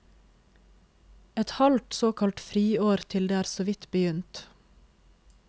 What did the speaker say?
Et halvt såkalt friår til det er såvidt begynt.